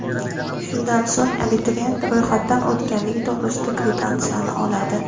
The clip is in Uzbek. Shundan so‘ng, abituriyent ro‘yxatdan o‘tganligi to‘g‘risida kvitansiyani oladi.